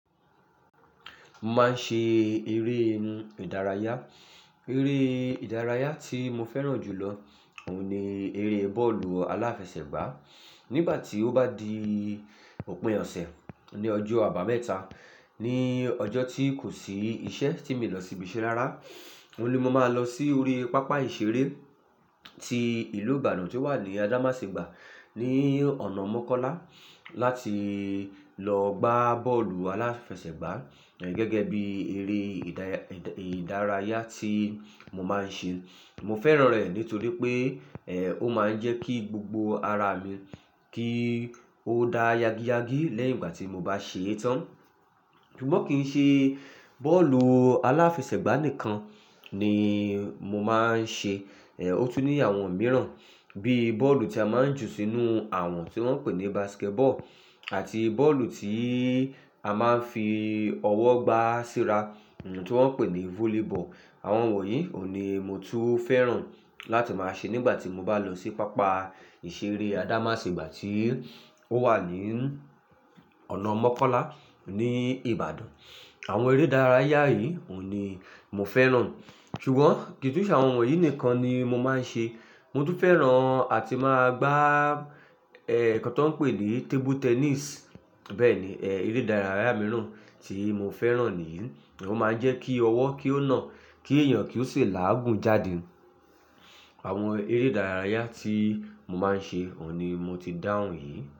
Mo máa ń ṣe eré ìdárayá. Eré ìdárayá tí mo fẹ́ràn jù lọ òun ni eré bọ́ọ̀lù aláfẹsẹ̀gbá. Ni ìgbà tí ó bá di òpin ọ̀sẹ̀ ní ọjọ́ àbámẹ́ta, ní ọjọ́ tí kò sí iṣẹ́ tí mi lọ síbi iṣẹ́ rárá, òun ni mo máa lọ sí orí pápá ìṣeré ti ìlú Ìbàdàn tí ó wà ní Adamasingba ní ọ̀nà Mọ́kọ́lá láti lọ gbá bọ́ọ̀lù aláfẹsẹ̀gbá gẹ́gẹ́ bí eré ìdárayá tí mo máa ń ṣe. Mo fẹ́ràn rẹ̀ nítorí pé, ẹ́, ó máa ń jẹ́ kí gbogbo ara mi kí ó dá yagi yagi lẹ́yìn ìgbà tí mo bá ṣé tán. Ṣùgbọ́n kì í ṣe bọ́ọ̀lù aláfẹsẹ̀gbá nìkan ni mo máa ń ṣe. Ẹ̀, ó tún ní àwọn mìíràn bíi bọ́ọ̀lù tí a máa ń jù sínú, àwọn tí wọ́n ń pè ní basketball àti bọ́ọ̀lù tí á máa ń fi ọwọ́ gbá síra tí wọ́n ń pè ní volleyball. Àwọn wọ̀nyí òun ni mo tún fẹ́ràn láti máa ṣe nígbà tí mo bá lọ sí pápá ìṣeré Adamasingba tí ó wà ní ọ̀nà Mọ́kọ́lá ní Ìbàdàn. Àwọn eré ìdárayá yìí òun ni mo fẹ́ràn. Ṣùgbọ́n kì í ṣe àwọn wọ̀nyí nìkan ni mo máa ń ṣe. Mo tún fẹ́ràn àti máa gbá, ẹ́, nǹkan tí wọ́n ń pè ní table tennis. Bẹ́ẹ̀ ni, ẹ́, eré ìdárayá mìíràn tí mo fẹ́ràn nìyí. Ó máa ń jẹ́ kí ọwọ́ kí ó nà, kí èèyàn kí ó sì láàgùn jáde. Àwọn eré ìdárayá tí mo máa ń ṣe òun ni mo ti dáhùn yìí.